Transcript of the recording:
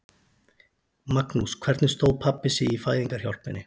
Magnús: Hvernig stóð pabbi sig í fæðingarhjálpinni?